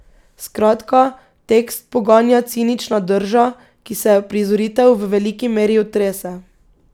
Skratka, tekst poganja cinična drža, ki se je uprizoritev v veliki meri otrese.